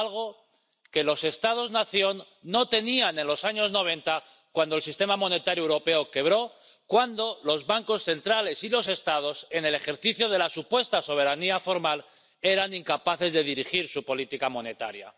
Algo que los Estados nación no tenían en los años noventa, cuando el sistema monetario europeo quebró, cuando los bancos centrales y los Estados, en el ejercicio de la supuesta soberanía formal, eran incapaces de dirigir su política monetaria.